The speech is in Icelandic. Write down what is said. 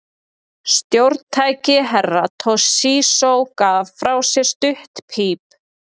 Stjórntæki Herra Toshizo gaf frá sér stutt píp.